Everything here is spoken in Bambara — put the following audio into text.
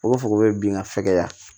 O b'a fɔ ko bin ka fɛgɛya